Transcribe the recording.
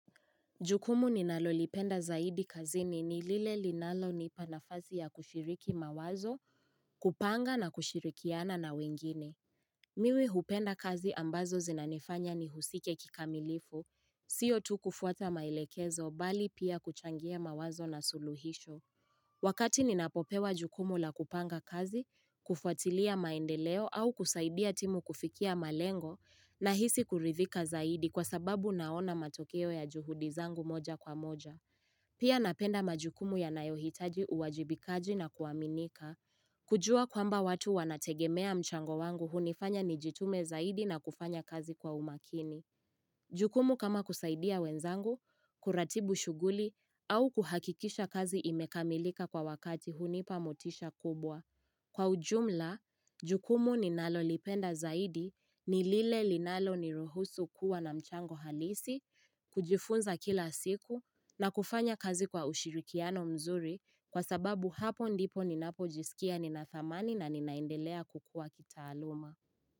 Jukumu ninalolipenda zaidi kazini ni lile linalonipa nafasi ya kushiriki mawazo, kupanga na kushirikiana na wengine. Mimi hupenda kazi ambazo zinanifanya nihusike kikamilifu, sio tu kufuata maelekezo bali pia kuchangia mawazo na suluhisho. Wakati ninapopewa jukumu la kupanga kazi, kufuatilia maendeleo au kusaidia timu kufikia malengo nahisi kuridhika zaidi kwa sababu naona matokeo ya juhudi zangu moja kwa moja. Pia napenda majukumu ya nayohitaji uwajibikaji na kuaminika. Kujua kwamba watu wanategemea mchango wangu hunifanya nijitume zaidi na kufanya kazi kwa umakini. Jukumu kama kusaidia wenzangu, kuratibu shughuli au kuhakikisha kazi imekamilika kwa wakati hunipa motisha kubwa. Kwa ujumla, jukumu ninalolipenda zaidi, ni lile linalo nirohusu kuwa na mchango halisi, kujifunza kila siku na kufanya kazi kwa ushirikiano mzuri kwa sababu hapo ndipo ninapo jisikia nina thamani na ninaendelea kukua kitaaluma.